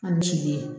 A ni ce